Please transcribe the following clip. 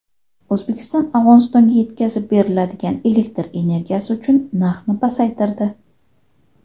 O‘zbekiston Afg‘onistonga yetkazib beriladigan elektr energiyasi uchun narxni pasaytirdi.